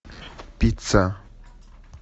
пицца